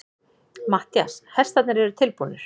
MATTHÍAS: Hestarnir eru tilbúnir.